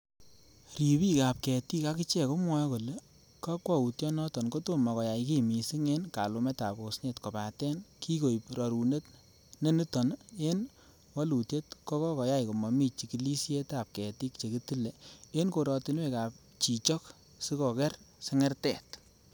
Ribik ab ketik akichek komwoe kole kakwoutyonoton kotomo koyai kiy missing en kalumetab osnet, kobaten kikoiib rorunet neniton en wolitiet ko koyai komomi chigilsietab ketik chekitile en korotinwek ab chichok sikoker sengertet.